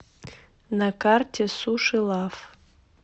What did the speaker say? на карте суши лав